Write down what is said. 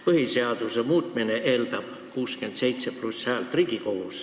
Põhiseaduse muutmine eeldab Riigikogus 67+ häält.